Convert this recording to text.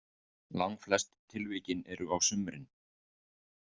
Langflest tilvikin eru á sumrin?